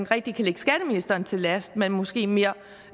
rigtig kan lægge skatteministeren til last men måske mere